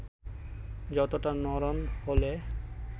যতটা নড়ন হলে